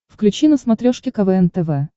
включи на смотрешке квн тв